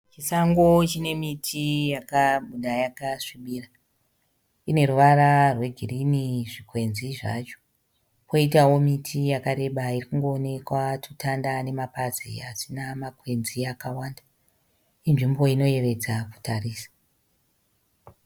Chisango chine miti yakabuda yakasvibira. Ine ruvara rwegirini zvikwenzi zvacho. Kwoitawo miti yakareba iri kungoonekwa tutanda namapazi asina makwenzi akawanda. Inzvimbo inoyevedza kutarisa.